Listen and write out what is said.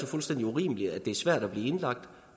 fuldstændig urimeligt at det er så svært at blive indlagt